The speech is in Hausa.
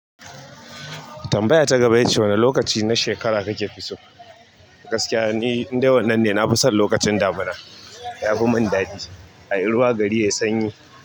Tambaya ta gaba yace wani lokaci na shekara kaka fi so? Gaskiya ni in dai wannan ne, na fi son lokacin damuna. Yafimin daɗi, ayi ruwa gari yayi sanyi.